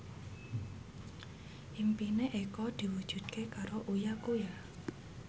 impine Eko diwujudke karo Uya Kuya